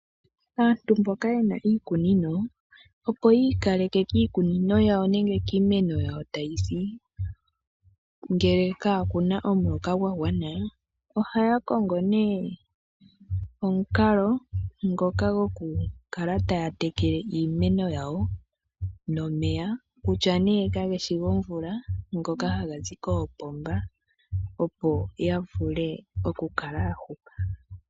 Aantu mboka ye na iikunino, opo yi ikaleke kiikunino yawo nenge kiimeno yawo tayi si ngele kaa ku na omuloka gwa gwana ohaya kongo nee omukalo ngoka gokukala taya tekele iimeno yawo nomeya. Kutya nee kage shi gomvula ngoka haga zi koopomba, opo ya vule okukala ya hupa.